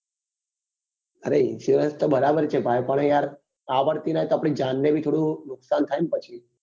અરે insurance તો બરોબર છે ભાઈ પણ આવડતી નહિ તો આપડી જાન ને પણ થોડું નુકસાન થાય ને ભાઈ